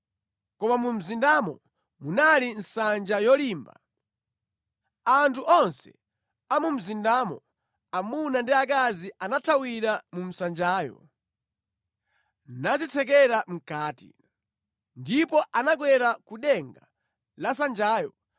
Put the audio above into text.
Koma mu mzindamo munali nsanja yolimba. Anthu onse a mu mzindamo amuna ndi akazi anathawira mu nsanjayo, nadzitsekera mʼkati. Ndipo anakwera ku denga la nsanjayo.